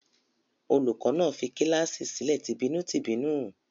Olùkọ́ní náà fi kíláàsì sílẹ̀ tìbínú-tìbínú?